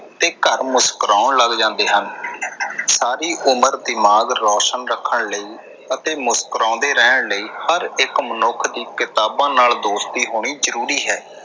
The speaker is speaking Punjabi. ਤੇ ਘਰ ਮੁਸਕਰਾਉਣ ਲੱਗ ਜਾਂਦੇ ਹਨ ਸਾਰੀ ਉਮਰ ਦਿਮਾਗ਼ ਰੋਸ਼ਨ ਰੱਖਣ ਲਈ ਅਤੇ ਮੁਸਕਰਾਉਂਦੇ ਰਹਿਣ ਲਈ ਹਰ ਇੱਕ ਮਨੁੱਖ ਦੀ ਕਿਤਾਬਾਂ ਨਾਲ ਦੋਸਤੀ ਹੋਣੀ ਜਰੂਰੀ ਹੈ।